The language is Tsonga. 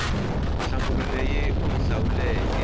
nhlamulo leyi u yi hlawuleke